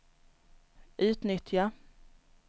utnyttja